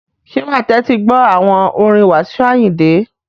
Ṣé wa tẹ́tí gbọ́ àwọn orin Wasiu Ayinde?